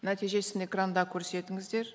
нәтижесін экранда көрсетіңіздер